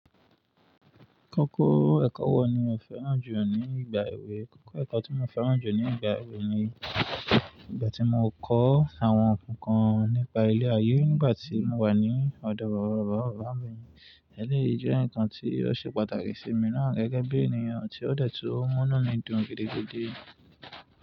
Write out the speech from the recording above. Kókó ẹ̀kọ́ wo ni o fẹ́ràn jù ní ìgbà èwe? Kókó ẹ̀kọ́ tí mo fẹ́ràn jù ní ìgbà èwe ni ìgbà tí mo kọ́ àwọn ǹkan kan nípa ile ayé nígbà tí mo wà ní ọ̀dọ̀ bàbá bàbá bàbá mi. Ẹ̀léyìí jẹ́ ǹkan tí ó ṣe pàtàkì sí mi náà gẹ́gẹ́ bí ènìyàn tí ó dẹ̀tú ó mú mí dùn gidi gidi.